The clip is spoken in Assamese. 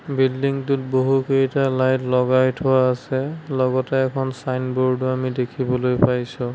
বিল্ডিংটোত বহুকেইটা লাইট লগাই থোৱা আছে লগতে এখন ছাইনবোৰ্ডও আমি দেখিবলৈ পাইছোঁ।